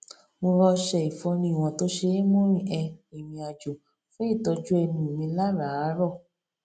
mo ra ọṣẹ ìfọnu ìwọn tó ṣe é mú rin um ìrìnàjò fún ìtọjú ẹnu mi láràárọ